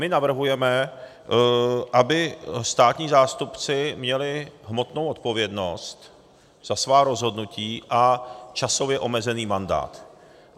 My navrhujeme, aby státní zástupci měli hmotnou odpovědnost za svá rozhodnutí a časově omezený mandát.